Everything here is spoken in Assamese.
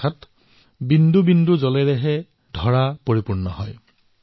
অৰ্থাৎ এক এক টোপালৰ দ্বাৰাই পাত্ৰ পূৰ্ণ হয়